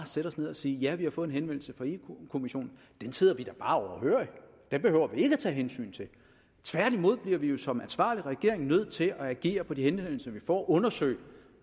sætte os ned og sige ja vi har fået en henvendelse fra europa kommissionen den sidder vi da bare overhørig den behøver vi ikke at tage hensyn til tværtimod bliver vi jo som ansvarlig regering nødt til at agere på de henvendelser vi får og undersøge